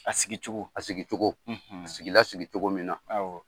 A sigicogo a sigicogo a sigila sigicogo min na.